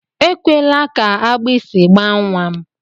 Ekwela ka agbịsị gbaa nnwa m!